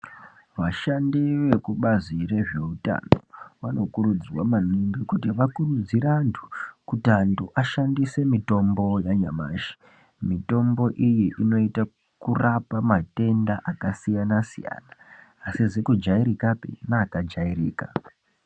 Vashandi vekubazi rezveutano, vanokurudzirwa maningi kuti vakurudzire antu, kuti antu ashandise mitombo yanyamashi. Mitombo iyi inoita kurapa matenda akasiyana-siyana, asizi kujairikapi, neakajairika.